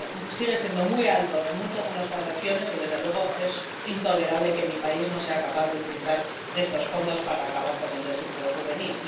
Sigue siendo muy alto en muchas de nuestras regiones y, desde luego, es intolerable que mi país no sea capaz de utilizar estos fondos para acabar con el desempleo juvenil.